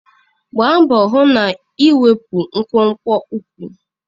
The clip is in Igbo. Gbaa mbọ hụ na ị ga-ewepụ nkwonkwo ụkwụ!